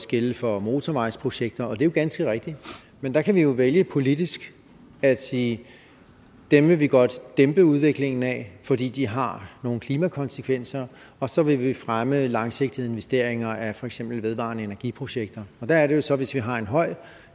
gælde for motorvejsprojekter og det er jo ganske rigtigt men der kan vi jo vælge politisk at sige at dem vil vi godt dæmpe udviklingen af fordi de har nogle klimakonsekvenser og så vil vi fremme langsigtede investeringer af for eksempel vedvarende energiprojekter der er det jo så at hvis vi har en høj